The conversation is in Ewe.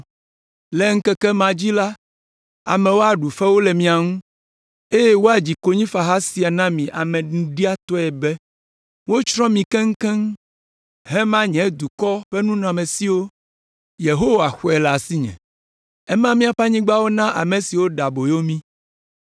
Le ŋkeke ma dzi la, amewo aɖu fewu le mia ŋu, eye woadzi konyifaha sia na mi amenuɖiatɔe be: ‘Wotsrɔ̃ mi keŋkeŋ; hema nye dukɔ ƒe nunɔamesiwo. Yehowa xɔe le asinye. Ema míaƒe anyigbawo na ame siwo ɖe aboyo mí.’ ”